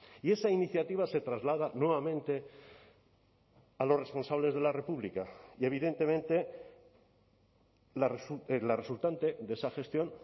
y esa iniciativa se traslada nuevamente a los responsables de la república y evidentemente la resultante de esa gestión